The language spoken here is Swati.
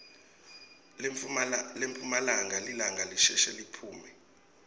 emphumalanga lilanga lisheshe liphume